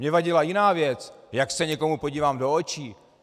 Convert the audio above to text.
Mně vadila jiná věc - jak se někomu podívám do očí.